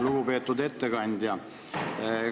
Lugupeetud ettekandja!